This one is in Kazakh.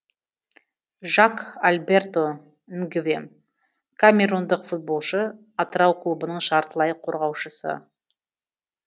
жак альберто нгвем камерундық футболшы атырау клубының жартылай қорғаушысы